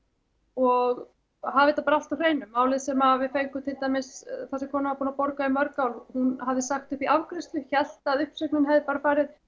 og hafa þetta allt á hreinu málið sem við fengum þar sem kona var búin að borga í mörg ár hún hafði sagt upp í afgreiðslu hélt að uppsögnin hefði bara